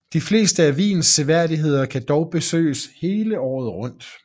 De fleste af Wiens seværdigheder kan dog besøges hele året rundt